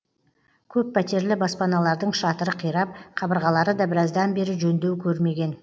көппәтерлі баспаналардың шатыры қирап қабырғалары да біраздан бері жөндеу көрмеген